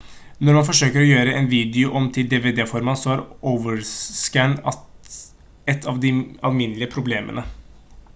når man forsøker å gjøre en video om til dvd-format så er overscan et av de alminnelige problemene